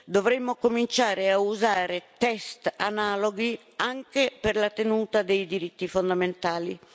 dovremmo cominciare a usare test analoghi anche per la tenuta dei diritti fondamentali.